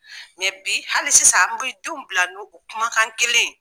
bi hali sisan, n bɛ denw bila n'o kumakan kelen ye.